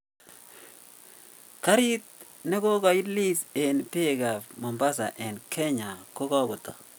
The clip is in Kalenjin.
Gari negoga ilis en peg ap mombasa en kenya ko kagotok.